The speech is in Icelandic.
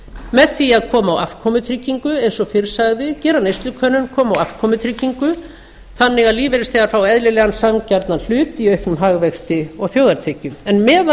með því að koma á afkomutryggingu eins og fyrr sagði gera neyslukönnun koma á afkomutryggingu þannig að lífeyrisþegar fái eðlilegan sanngjarnan hlut í auknum hagvexti og þjóðartekjum en meðan